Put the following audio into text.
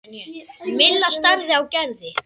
Milla starði á Gerði.